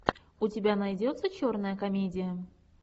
у тебя найдется черная комедия